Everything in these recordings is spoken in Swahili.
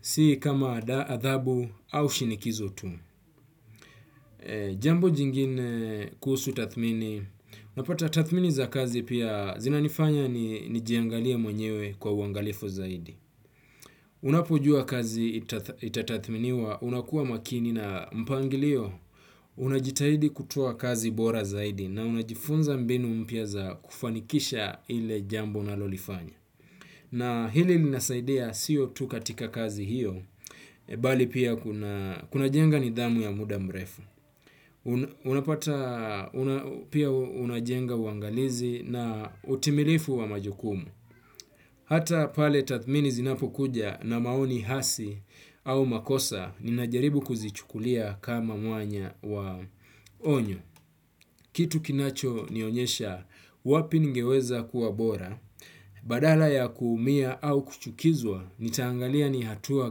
Sii kama adhabu au shinikizo tu. Jambo jingine kuhusu tathmini unapata tathmini za kazi pia zinanifanya nijiangalie mwenyewe kwa uangalifu zaidi. Unapojua kazi itatathminiwa, unakuwa makini na mpangilio, unajitahidi kutoa kazi bora zaidi na unajifunza mbinu mpya za kufanikisha ile jambo unalolifanya. Na hili linasaidea siyo tu katika kazi hiyo, bali pia kuna jenga nidhamu ya muda mrefu. Unapata pia unajenga uangalizi na utimilifu wa majukumu. Hata pale tathmini zinapo kuja na maoni hasi au makosa ninajaribu kuzichukulia kama mwanya wa onyo. Kitu kinacho nionyesha wapi ningeweza kuwa bora badala ya kuumia au kuchukizwa nitaangalia ni hatua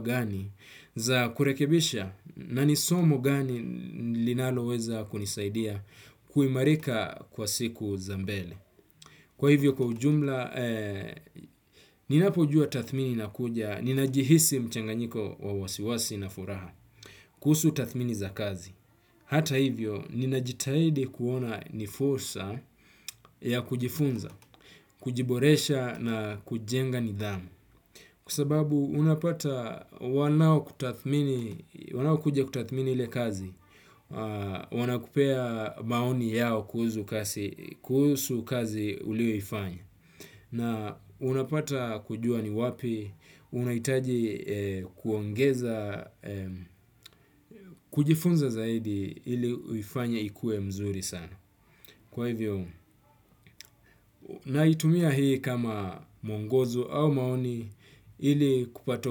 gani za kurekebisha na ni somo gani linaloweza kunisaidia kuimarika kwa siku zangu za mbele. Kwa hivyo kwa ujumla, ninapujua tathmini inakuja, ninajihisi mchanganyiko wa wasiwasi na furaha. Kuhusu tathmini za kazi hata hivyo, ninajitahidi kuona ni fursa ya kujifunza, kujiboresha na kujenga nidhamu. Kwa sababu unapata wanao kuja kutathmini ile kazi, wana kupea maoni yao kuhusu kazi uliyoifanya. Na unapata kujua ni wapi, unahitaji kuongeza, kujifunza zaidi ili uifanya ikue mzuri sana. Kwa hivyo, naitumia hii kama muongozo au maoni ili kupata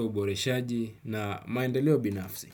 uboreshaji na maendeleo binafsi.